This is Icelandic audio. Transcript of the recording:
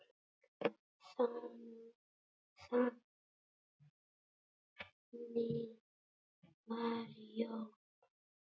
Þannig var Jón.